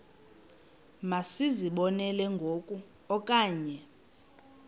masizibonelele ngoku okanye